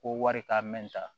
Ko wari ka mɛn ta